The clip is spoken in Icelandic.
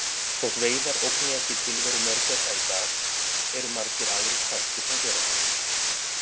Þótt veiðar ógni ekki tilveru mörgæsa í dag eru margir aðrir þættir sem gera það.